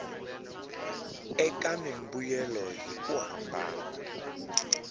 eka mimbuyelo hi ku hambana